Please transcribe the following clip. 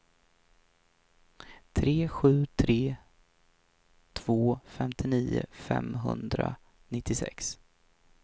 tre sju tre två femtionio femhundranittiosex